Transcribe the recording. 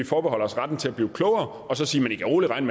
forbeholder sig retten til at blive klogere og så sige at de roligt kan